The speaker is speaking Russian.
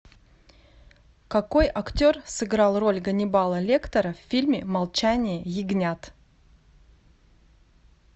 какой актер сыграл роль ганнибала лектора в фильме молчание ягнят